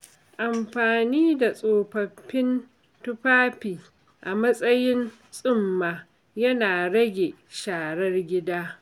Amfani da tsofaffin tufafi a matsayin tsumma yana rage sharar gida.